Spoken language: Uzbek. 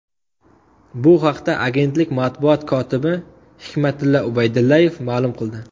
Bu haqda agentlik matbuot kotibi Hikmatilla Ubaydullayev ma’lum qildi .